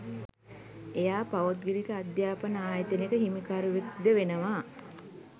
එයා පෞද්ගලික අධ්‍යාපන ආයතනයක හිමිකරුවෙක්ද වෙනවා.